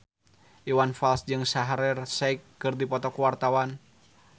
Iwan Fals jeung Shaheer Sheikh keur dipoto ku wartawan